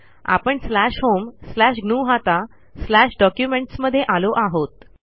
आपणslash home slash ग्नुहता slash documents मध्ये आलो आहोत